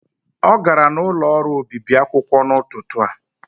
Ọ gara n'ụlọ ọrụ obibi akwụkwọ n'ụtụtụ a.